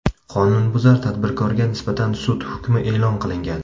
Qonunbuzar tadbirkorga nisbatan sud hukmi e’lon qilingan.